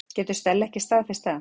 Getur Stella ekki staðfest það?